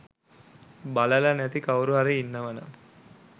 බලල නැති කවුරුහරි ඉන්නවනම්